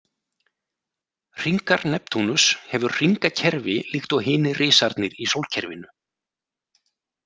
Hringar Neptúnus hefur hringakerfi líkt og hinir risarnir í sólkerfinu.